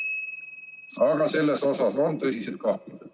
Aga selles osas on tõsised kahtlused.